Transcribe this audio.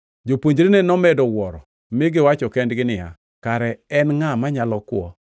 Jopuonjrene nomedo wuoro mi giwacho kendgi niya, “Kare en ngʼa manyalo kwo?”